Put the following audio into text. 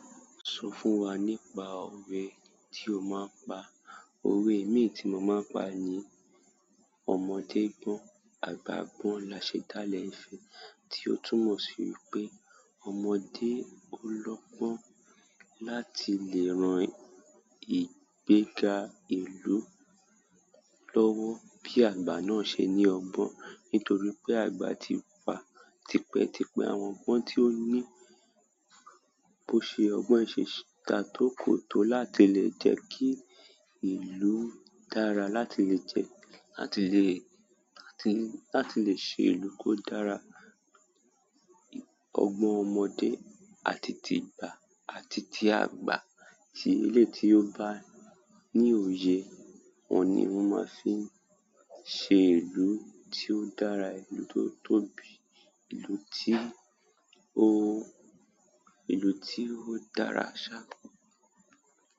Sọ fún wa nípa òwe tí o máa ń pa? Ówe mií tí mo máa ń pa ni "Ọmọdé gbọ́n, àgbà gbọ́n la ṣe dá ilẹ̀ ìfẹ́" tí ó túmọ̀ sí wipé ọmọdé ó lọ́gbọ́n láti lè ran ìgbéga ìlú lowo bi agba náà se ni ogbon nítorí pé àgba ti pa tipẹ́ tipẹ́ àwọn ọgbọ́n tí ó ní bó ṣe ọgbọ́n ìṣe dàa tò kòtò láti lè jẹ́ kí ìlú dára, láti lè jẹ́, láti lè, láti lè ṣe ìlú kó dára. Ọgbọ́n ọmọdé àti ti àgbà àti ti àgbà, ti eléyi ti ó bá ní òye, wọ́n ni won máa fíí ṣe ìlú tí ó dára, ìlú tó tóbi, ìlú ti o, ìlú ti o dára sa.